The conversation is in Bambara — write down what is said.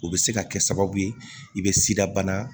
O bɛ se ka kɛ sababu ye i bɛ sidabana